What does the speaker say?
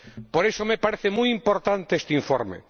Por eso me parece muy importante este informe.